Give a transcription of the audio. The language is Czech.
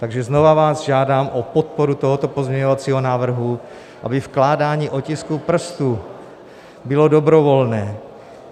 Takže znova vás žádám o podporu tohoto pozměňovacího návrhu, aby vkládání otisků prstů bylo dobrovolné.